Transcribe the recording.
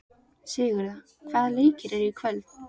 Sigurða, hvaða leikir eru í kvöld?